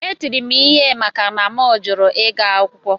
Etiri m ihe maka na a jụrụ m ịga akwụkwọ